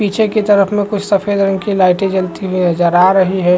पीछे की तरफ में कुछ सफ़ेद रंग की लाइटें जलती हुई नज़र आ रही है ।